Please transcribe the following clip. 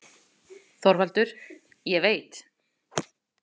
ÞORVALDUR: Ég veit.